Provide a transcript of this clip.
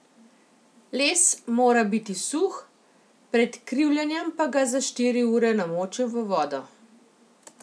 Les mora biti suh, pred krivljenjem pa ga za štiri ure namočim v vodo.